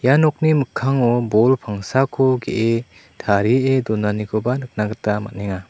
ia nokni mikkango bol pangsako ge·e tarie donanikoba nikna gita man·enga.